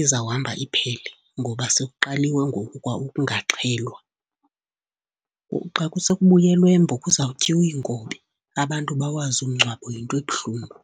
izawuhamba iphele, ngoba sekuqaliwe ngoku kwa ukungaxhelwa. Kuxa kusekubuyelwe eMbo kuzawutyiwa inkobe, abantu bawazi umngcwabo yinto ebuhlungu.